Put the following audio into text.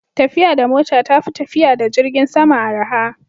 tafiya da mota ta fi tafiya da jirgin sama araha